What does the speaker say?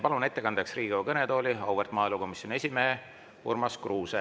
Palun ettekandeks Riigikogu kõnetooli auväärt maaelukomisjoni esimehe Urmas Kruuse.